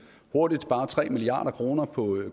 hurtigt spare tre milliard kroner på